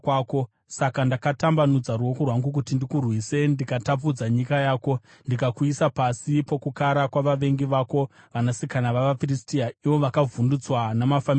Saka ndakatambanudza ruoko rwangu kuti ndikurwise ndikatapudza nyika yako; ndikakuisa pasi pokukara kwavavengi vako, vanasikana vavaFiristia, ivo vakavhundutswa namafambiro ako.